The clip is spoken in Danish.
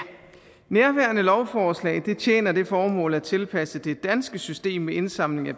nærværende lovforslag tjener det formål at tilpasse det danske system med indsamling af